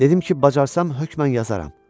Dedim ki, bacarsam hökmən yazaram.